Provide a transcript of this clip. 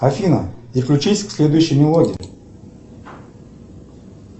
афина переключись к следующей мелодии